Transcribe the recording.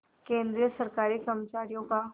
केंद्रीय सरकारी कर्मचारियों का